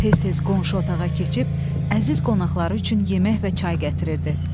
Tez-tez qonşu otağa keçib əziz qonaqları üçün yemək və çay gətirirdi.